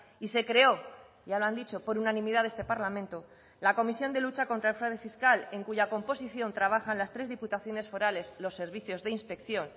y se creó ya lo han dicho por unanimidad de este parlamento la comisión de lucha contra el fraude fiscal en cuya composición trabajan las tres diputaciones forales los servicios de inspección